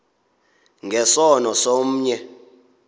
nge sono somnye